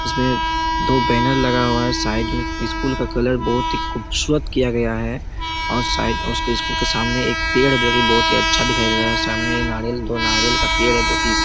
इसमें दो बैनर लगा हुआ है साइड में स्कूल का कलर बहुत ही खूबसूरत किया गया है और साइड उसके स्कूल के सामने एक पेड़ है जो की बहुत ही अच्छा दिखाई दे रहा है सामने नारियल दो नारियल का पेड़ है जो की--